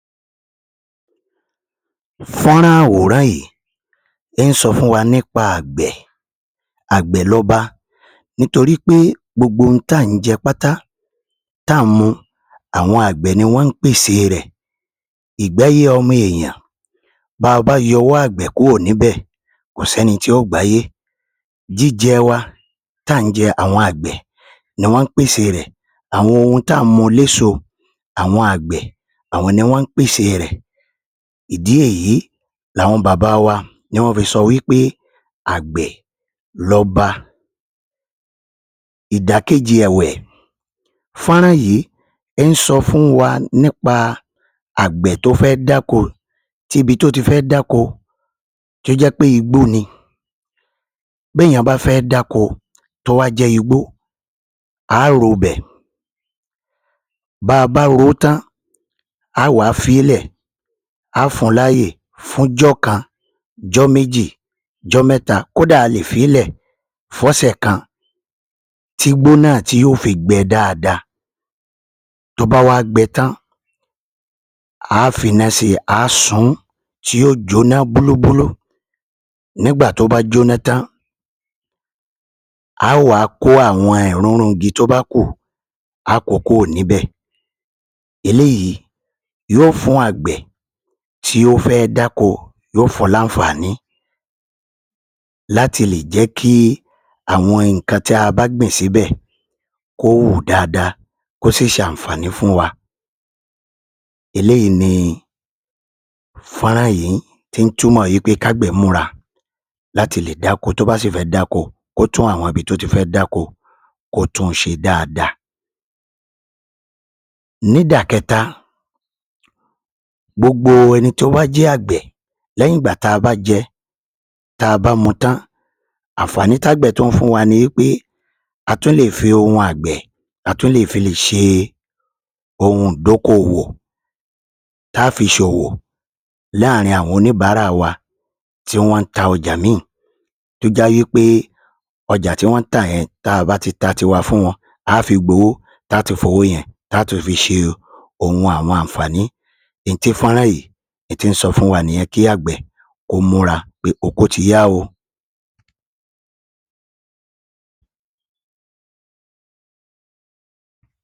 Fán-án-rán àwòrán yìí ló ń sọ fún wa nípa àgbẹ̀. Àgbẹ̀ lọba nítorí pé gbogbo tà ń jẹ pátá tá ń mu àwọn àgbẹ̀ ni wọn ń pèsè rẹ̀. Ìgbáyé ọmọ ènìyàn báa bá yọwọ́ àgbẹ̀ kúrò níbẹ́, kò ṣẹ́ni tí yó gbáyé. Jíjẹ wa, táà ń jẹ, àwọn àgbẹ̀ ni wọn ń pèsè rẹ̀, àwọn ohun tí à ń mu eléso àwọn àgbẹ̀, àwọn ni wọ́n ń pèsè rẹ̀. Ìdí nìyí làwọn baba wa ni wọ́n fi sọ wí pé àgbẹ̀ lọba. Ìdí kejì ẹ̀wẹ̀ fán-án-rán yìí ń sọ fún wa nípa àgbẹ̀ tó fẹ́ dáko tibi tó ti fẹ́ dáko tó jẹ́ pé igbó ni. Béèyàn bá fẹ́ dáko tó wá jẹ́ igbó, a á ro ‘bẹ̀, bá a bá ro ó tán, a wàá fi í lẹ̀, a fún un láyè fún ‘jọ́ kan, ‘jọ́ méjì, ‘jọ mẹ́ta, kódà alè fi í lẹ̀ f’ọ́sẹ̀ kan. Tígbó náà ti yó fi gbẹ dáadáa. Tó bá wá gbẹ tán, àa finá sí i a sun ún tí yóò jóná gúrúgúrú, nígbà tó bá jóná tán a wá kó àwọn èrúnrún igi tó bá kù a kó o kúrò níbẹ̀. Eléyìí yóò fún àgbẹ̀ tí ó fẹ́ dáko yó fún un ní àǹfàní láti lè jẹ́ kí àwọn nǹkan tí a bá gbìn síbẹ̀ kó hù dáadáa, kó sì ṣe àǹfàní fún wa. Eléyìí ni fán-án-rán yìí tí ń túmọ̀ wí pé kágbẹ̀ múra láti lè dáko tó bá sì fẹ́ dáko kó tún un ṣe dáadáa. Nídàkẹta, gbogbo ẹni tó bá jẹ́ àgbẹ̀ lẹ́yìn ìgbà táa bá mú tán, àǹfàní tágbẹ̀ tún ń fún wa ni pé a tún lè fi ohun àgbẹ̀ a tùn lè fi ohun àgbẹ̀ a tún lè fi ṣe ohun dókò-òwò, tá fi ṣòwò láarin àwọn oníbàárà wa tí wọn ń ta ọjà míìì tó jẹ́ wí pé ọjà tí wọ́n ń tà yẹn ta a bá ti ta tiwa fún wọn a ti gbowó láti fi ṣe ohun àwọn àǹfàní n tí fán-án-rán yìí tó ń sọ fún wa nìyẹn pé oko ti yá o.